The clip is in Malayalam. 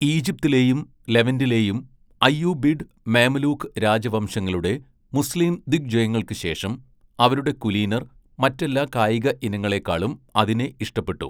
ഈജിപ്തിലെയും ലെവന്റിലെയും അയ്യൂബിഡ്, മേമലൂക് രാജവംശങ്ങളുടെ മുസ്ലീം ദിഗ്വിജയങ്ങൾക്കു ശേഷം, അവരുടെ കുലീനർ മറ്റെല്ലാ കായിക ഇനങ്ങളെക്കാളും അതിനെ ഇഷ്ടപ്പെട്ടു.